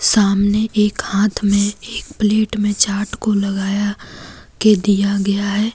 सामने एक हाथ में एक प्लेट में चाट को लगाया के दिया गया है।